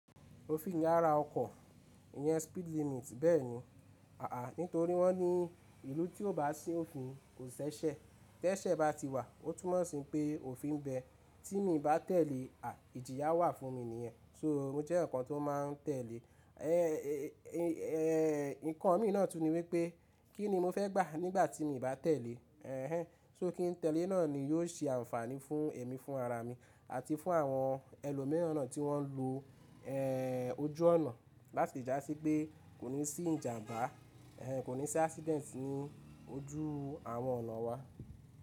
Òfin ìyára ọkọ̀, ìyẹn speed limit bẹ́ẹ̀ni àà nítorí wọ́n ní ìlú tí ò bá sí òfin kò ṣẹṣẹ. Tẹ́sẹ̀ bá ti wà ó tún má sin pé òfin bẹ tí mi bá tẹ̀lé à ìjìyà wà fún mi nìyẹn. So ó jẹ́ ǹkan tó máa n tẹ̀lé. Ehn nǹkan mi náà tún ni wípé kí ni mo fẹ́ gbà nígbà tí mo bá tẹ̀lé. Ehn so kí n tẹ̀lé náà ni yóò sí ànfàní fún èmi fún ara mi àti fún àwọn ẹlòmíràn náà tí wọ́n ń lo ehn ojú ọ̀nà láti dà sí pé kò ní sí ìjàmbá, ehn kò ní sí accident ní ojú àwọn ọ̀nà wa.